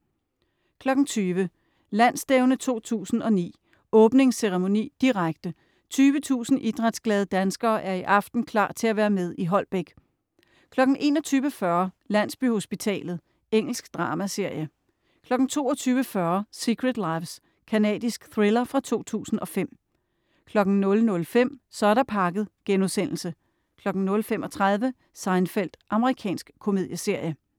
20.00 Landsstævne 2009 - åbningsceremoni, direkte, 20.000 idrætsglade danskere er i aften klar til at være med i Holbæk 21.40 Landsbyhospitalet. Engelsk dramaserie 22.40 Secret Lives. Canadisk thriller fra 2005 00.05 Så er der pakket* 00.35 Seinfeld. Amerikansk komedieserie